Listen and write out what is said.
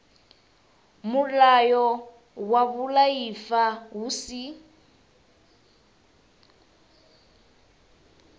mulayo wa vhuaifa hu si